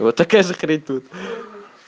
вот такая же хрень тут